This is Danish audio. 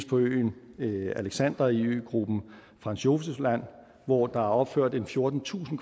på øen alexander i øgruppen franz josef land hvor der er opført en fjortentusind